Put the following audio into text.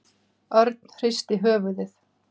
Örn hristi höfuðið.